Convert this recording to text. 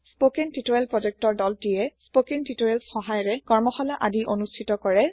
spoken tutorial project ৰ দলটিয়ে spoken টিউটৰিয়েলৰ সহায়েৰে কৰ্মশালা আদি অনোষ্টিত কৰে